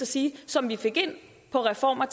sige som vi fik ind på reformer